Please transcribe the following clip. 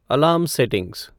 alarm settings